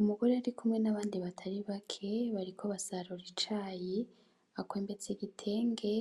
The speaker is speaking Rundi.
Umugore arikumwe n'abandi batari bake, bariko basurura icayi akwembetse igitenge,